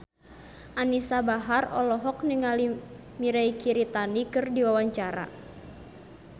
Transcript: Anisa Bahar olohok ningali Mirei Kiritani keur diwawancara